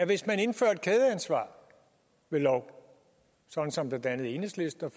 hvis man indfører et kædeansvar ved lov sådan som blandt andet enhedslisten